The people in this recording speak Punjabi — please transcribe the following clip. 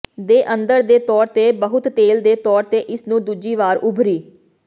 ਦੇ ਅੰਦਰ ਦੇ ਤੌਰ ਤੇ ਬਹੁਤ ਤੇਲ ਦੇ ਤੌਰ ਤੇ ਇਸ ਨੂੰ ਦੂਜੀ ਵਾਰ ਉਭਰੀ